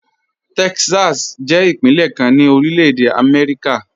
Texas jẹ ipinlẹ̀ kan ni Orílẹ̀-èdè Amẹ́ríkà.